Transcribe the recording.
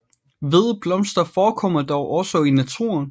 Hvide blomster forekommer dog også i naturen